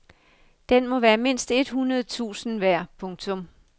Den må være mindst et hundrede tusind værd. punktum